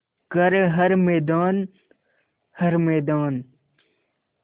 कर हर मैदान हर मैदान